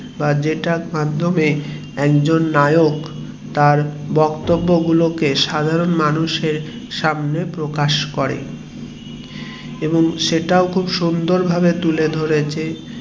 বা যেটার মাধ্যমে একজন নায়ক যেভাবে তার বক্ত্যবগুলোকে সাধারণ মানুষের সামনে প্রকাশ করে এবং সেটাও খুব সুন্দর ভাবে তুলে ধরেছে